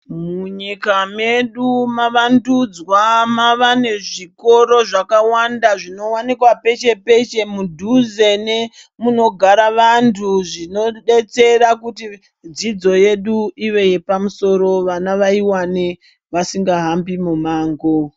Munyika medu mawandudzwa mava nezvikora zvakawanda zvinowanikwa peshe peshe mudhuze nemunogara vantu zvinodetsera kuti dzidzo yedu iwe yepamusoro vana vaiwane vasingahambi mumango.